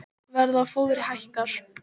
Verð á fóðri hækkar